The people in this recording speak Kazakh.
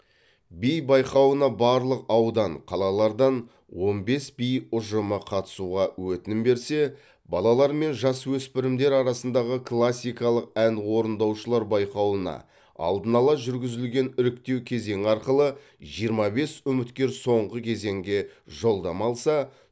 би байқауына барлық аудан қалалардан он бес би ұжымы қатысуға өтінім берсе балалар мен жасөспірімдер арасындағы классикалық ән орындаушылар байқауына алдын ала жүргізілген іріктеу кезеңі арқылы жиырма бес үміткер соңғы кезеңге жолдама алса